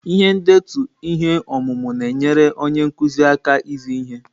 Ihe ndetu ihe ọmụmụ na-enyere onye nkuzi aka izi ihe.